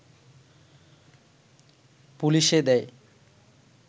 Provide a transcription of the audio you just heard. পুলিশে দেয়